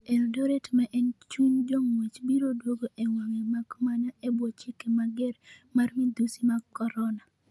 Eldoret maen chuny jong'wech biro duogo e wang'e makmana ebwo chike mager mar madhusi mag Corona.